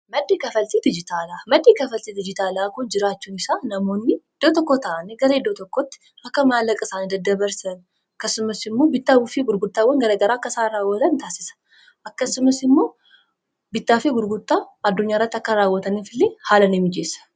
Maddi kafaltii diijitaalaa kun jiraachuun faayidaa madaalamuu hin dandeenye fi bakka bu’iinsa hin qabne qaba. Jireenya guyyaa guyyaa keessatti ta’ee, karoora yeroo dheeraa milkeessuu keessatti gahee olaanaa taphata. Faayidaan isaa kallattii tokko qofaan osoo hin taane, karaalee garaa garaatiin ibsamuu danda'a.